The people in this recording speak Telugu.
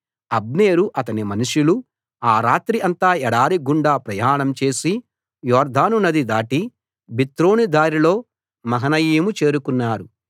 అబ్నేరు అతని మనుషులు ఆ రాత్రి అంతా ఎడారి గుండా ప్రయాణం చేసి యొర్దాను నది దాటి బిత్రోను దారిలో మహనయీము చేరుకున్నారు